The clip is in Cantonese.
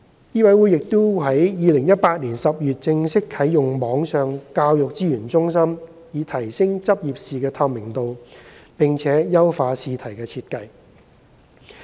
醫委會亦已於2018年10月正式啟用網上教育資源中心，以提升執業試的透明度及優化試題的設計。